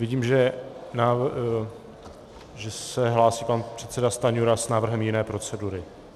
Vidím, že se hlásí pan předseda Stanjura s návrhem jiné procedury.